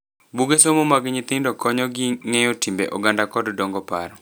Buge somo mag nyithindo konyo gi ng'eyo timbe oganda kod dongo paro.